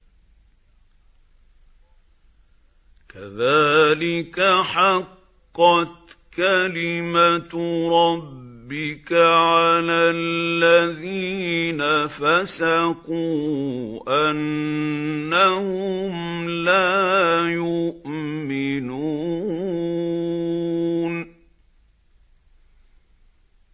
كَذَٰلِكَ حَقَّتْ كَلِمَتُ رَبِّكَ عَلَى الَّذِينَ فَسَقُوا أَنَّهُمْ لَا يُؤْمِنُونَ